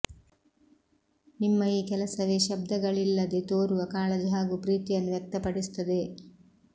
ನಿಮ್ಮ ಈ ಕೆಲಸವೇ ಶಬ್ದಗಳಿಲ್ಲದೆ ತೋರುವ ಕಾಳಜಿ ಹಾಗೂ ಪ್ರೀತಿಯನ್ನು ವ್ಯಕ್ತ ಪಡಿಸುತ್ತದೆ